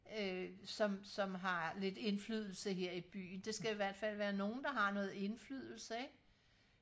øh som som har lidt indflydelse her i byen det skal i hvertfald være nogen der har noget indflydelse ikke